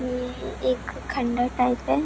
ये एक खंडहर टाइप हैं।